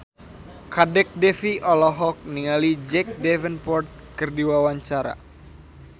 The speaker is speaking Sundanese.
Kadek Devi olohok ningali Jack Davenport keur diwawancara